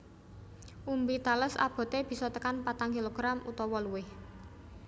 Umbi tales aboté bisa tekan patang kilogram utawa luwih